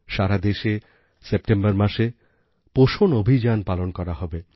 সারা দেশে সেপ্টেম্বর মাসে পোষণ অভিযান পালন করা হবে